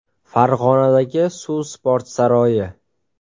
Farg‘onadagi Suv sport saroyi.